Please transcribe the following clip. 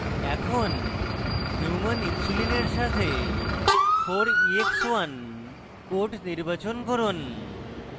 এখন human insulin এর সাথে 4ex1 code নির্বাচন করুন